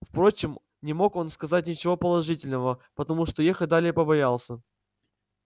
впрочем не мог он сказать ничего положительного потому что ехать далее побоялся